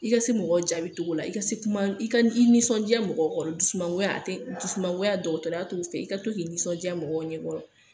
I ka se mɔgɔw jaabi togo la, i ka se kuma i ka i nisɔndiya mɔgɔw kɔrɔ, dusumangoya a tɛ dusumangoya dɔgɔtɔrɔya t'o fɛ. I ka to k'i nisɔndiya mɔgɔw ɲɛ kɔrɔ.